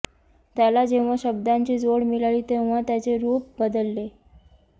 त्याला जेव्हा शब्दांची जोड मिळाली तेव्हा त्याचे रूप बदलले